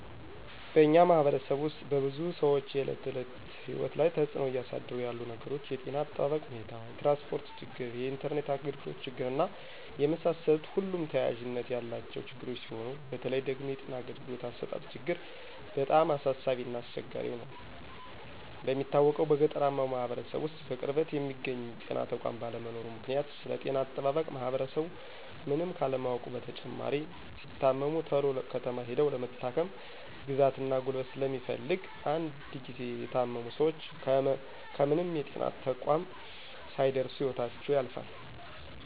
በእኛ ማህበረሰብ ውስጥ በብዙ ሰዎች የእለት ተዕለት ህይወት ላይ ተፅዕኖ እያሳደሩ ያሉት ነገሮች የጤና እጠባበቅ ሁኔታ፣ የትራንስፖርት ችግር፣ የኢንተርኔት አግልግሎት ችግር እና የመሳሰሉት ሁሉም ተያያዥነት ያላቸው ችግሮች ሲሆኑ በተለይ ደግሞ የጤና አገልግሎት አሰጣጥ ችግር በጣም አሳሳቢ እና አስቸጋሪ ሁኗል። እንደሚታወቀው በገጠራማው ማህበረሰብ ውስጥ በቅርበት የሚገኝ የጤና ተቋም ባለመኖሩ ምክንያት ስለጤና አጠባበቅ ማህበረሰቡ ምንም ካለማወቁ በተጨማሪ ሲታመሙ ተሎ ከተማ ሂደው ለመታከም ግዛት እና ጉልበት ስለሚፈልግ እንድ ጊዚ የታመሙ ሰወች ከምንም የጤና ተቋም ሳይደርሱ ህይወታቸው ያልፋል።